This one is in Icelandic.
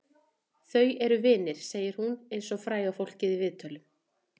Þau eru vinir, segir hún eins og fræga fólkið í viðtölum.